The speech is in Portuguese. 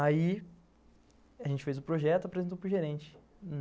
Aí, a gente fez o projeto e apresentou para o gerente.